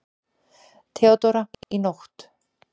THEODÓRA: Í nótt.